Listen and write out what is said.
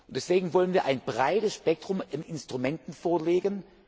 Deswegen wollen wir ein breites Spektrum an Instrumenten vorlegen.